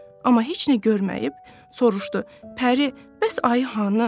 Amma heç nə görməyib soruşdu: Pəri, bəs ayı hanı?